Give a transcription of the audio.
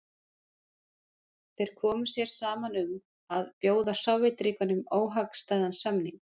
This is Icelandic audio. þeir komu sér saman um að bjóða sovétríkjunum óhagstæðan samning